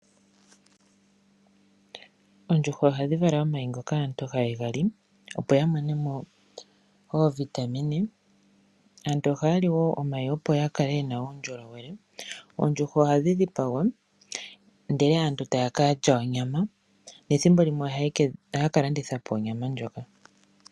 Oondjuhwa ohadhi vala omayi ngoka haga liwapo kaantu opo yamone mo iitungithilutu. Ohaya li wo omayi opo yakale yena uundjolowele. Oondjuhwa ohadhi dhipangwa ndele aantu etaya li onyama nathimbo limwe onyama ohayi kalandithwapo.